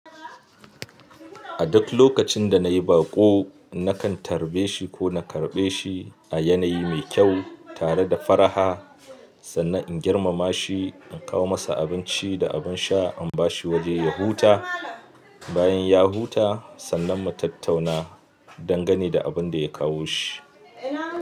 A duk lokacin da nayi baƙo nakan tarɓe shi ko na karɓe shi a yanayi mai kyau tare da faraha sannan in girmama shi, in kawo masa abinci da abin sha, in ba shi waje ya huta. Bayan ya huta sannan mu tattauna dangane da abin da ya kawo shi.